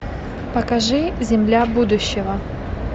покажи земля будущего